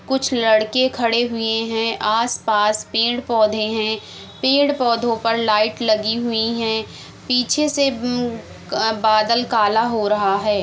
कुछ लड़के खड़े हुए हैं आस-पास पेड़-पौधे हैं पेड़-पौधों पर लाइट लगी हुईं हैं पीछे से बादल काला हो रहा है।